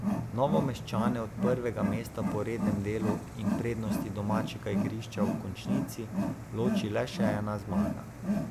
Novomeščane od prvega mesta po rednem delu in prednosti domačega igrišča v končnici loči le še ena zmaga.